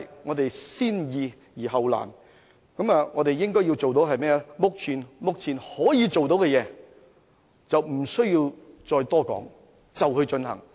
我們先易後難，應該做目前可以做到的事，不需要再多談，馬上進行。